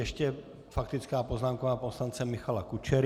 Ještě faktická poznámka pana poslance Michala Kučery.